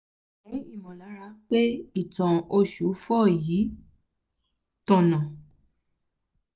mi ò ní ìmọ̀lára pé ìtàn oṣù four um yìí um tọ̀nà